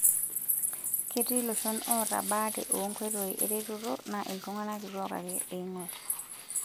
Ketii loshon oota baare o nkoitoi eretoto naa iltung'ana kituak ake eing'orr.